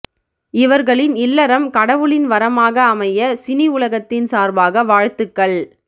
இவர்களின் இல்லறம் கடவுளின் வரமாக அமைய சினி உலகத்தின் சார்பாக வாழ்த்துக்கள்